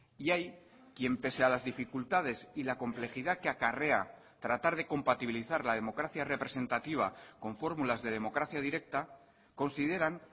y hay quien pese a las dificultades y la complejidad que acarrea tratar de compatibilizar la democracia representativa con fórmulas de democracia directa consideran